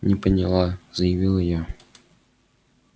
не поняла заявила я